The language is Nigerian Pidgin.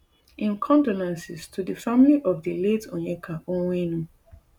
im condolences to di family of di late onyeka onwenu